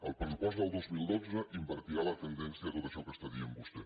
el pressupost del dos mil dotze invertirà la tendència de tot això que està dient vostè